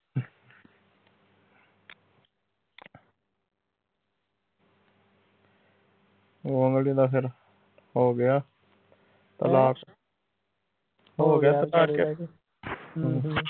ਦਾ ਫੇਰ ਹੋ ਗਿਆ ਤਲਾਕ